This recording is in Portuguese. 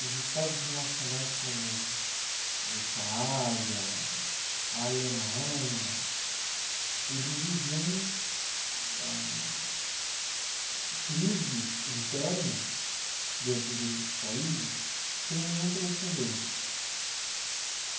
Os estados nacionais como a Itália, a Alemanha, eles viviam, ah... crises internas dentro desses países sem nenhum precedente.